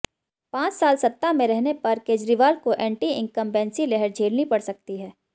पांच साल सत्ता में रहने पर केजरीवाल को एंटी इन्कमबेंसी लहर झेलनी पड़ सकती है